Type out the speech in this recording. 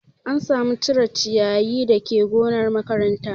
An sa mu cire ciyayin dake gonar makaranta